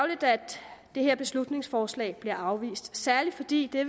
i her beslutningsforslag bliver afvist særlig fordi det